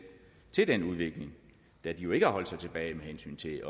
til den udvikling da de ikke har holdt sig tilbage med hensyn til